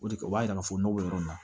O de kɛ o b'a yira k'a fɔ nɔgɔ yɔrɔ min na